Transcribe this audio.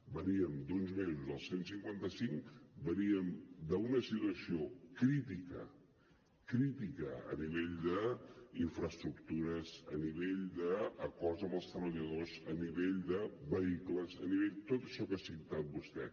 veníem d’uns mesos del cent i cinquanta cinc veníem d’una situació crítica crítica a nivell d’infraestructures a nivell d’acords amb els treballadors a nivell de vehicles a nivell de tot això que ha citat vostè